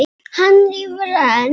Hann rífur enn.